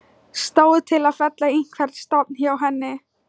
Stóð til að fella einhvern stofn hjá henni?